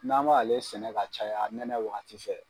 N'an B'ale sɛnɛ ka caya nɛnɛ wagati fɛ.